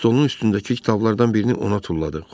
Stolunun üstündəki kitablardan birini ona tulladı.